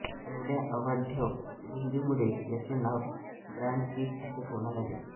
एवढ्या अवाढव्य रुंदीमुळे याचे नाव ब्रॉड पीक असे ठेवण्यात आले आहे